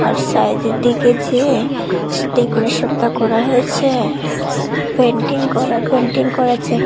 আর সাইডের দিকে যে ডেকোরেশনটা করা হয়েছে পেন্টিং করা পেন্টিং করেছে।